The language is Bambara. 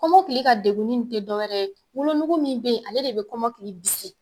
Kɔmɔkili ka degunni tɛ dɔwɛrɛ ye wolonugu min bɛ yen ale de bɛ kɔmɔkili bisi